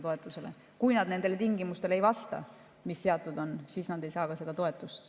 Kui nad ei vasta nendele tingimustele, mis seatud on, siis nad ei saa seda toetust.